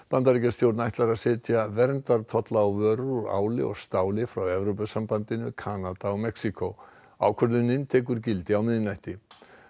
Bandaríkjastjórn ætlar að setja verndartolla á vörur úr áli og stáli frá Evrópusambandinu Kanada og Mexíkó ákvörðunin tekur gildi á miðnætti